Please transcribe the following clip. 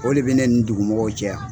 O de bi ne ni dugumɔgɔw cɛ yan.